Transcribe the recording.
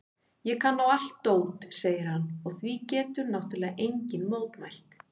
Ég kann á allt dót, segir hann og því getur náttúrlega enginn mótmælt.